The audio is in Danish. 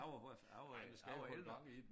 Jeg var hvert jeg var jeg var ældre